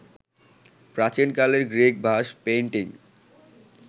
প্রাচীনকালের Greek vase painting